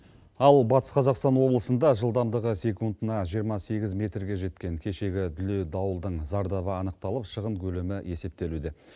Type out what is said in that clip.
ал батыс қазақстан облысында жылдамдығы секундына жиырма сегіз метрге жеткен кешегі дүлей дауылдың зардабы анықталып шығын көлемі есептелуде